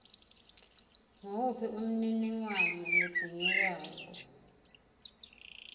nguwuphi umniningwano lodzingekako